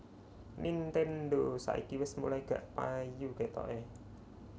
Nintendo saiki wes mulai gak payu ketoke